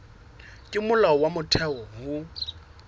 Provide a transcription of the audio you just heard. ke molao wa motheo ho